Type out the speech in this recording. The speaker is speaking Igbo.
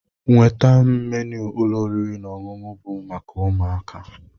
Nweta m ménu ụlọ oriri na ọṅụṅụ bu maka ụmụaka